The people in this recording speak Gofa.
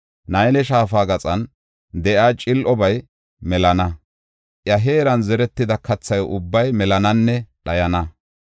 Nayle Shaafa gaxan de7iya cil7obay melana; iya heeran zeretida katha ubbay melananne dhayana.